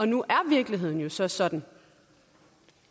nu er virkeligheden jo så sådan